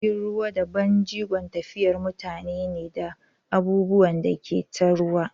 Jirgin ruwa babban jigon tafiyar mutane ne da abubuwan da ke ta ruwa.